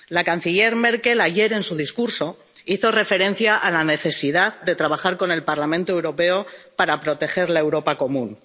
La canciller Merkel, ayer en su discurso, hizo referencia a la necesidad de trabajar con el Parlamento Europeo para proteger la Europa común.